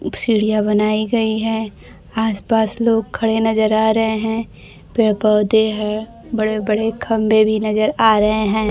एक सीढ़ियां बनाई गई है आस पास लोग खड़े नजर आ रहे हैं पेड़ पौधे हैं बड़े बड़े खंभे भी नजर आ रहे हैं।